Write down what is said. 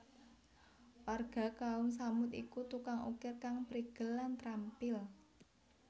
Warga Kaum Tsamud iku tukang ukir kang prigel lan trampil